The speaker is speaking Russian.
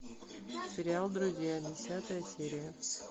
сериал друзья десятая серия